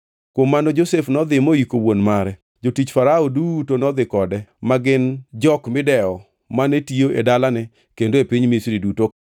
Kuom mano Josef nodhi moyiko wuon mare. Jotich Farao duto nodhi kode, ma gin jok midewo mane tiyo e dalane kendo e piny Misri duto,